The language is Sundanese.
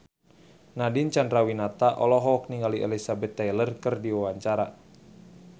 Nadine Chandrawinata olohok ningali Elizabeth Taylor keur diwawancara